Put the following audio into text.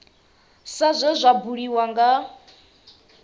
sa zwe zwa buliwa nga